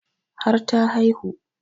Har ta haihu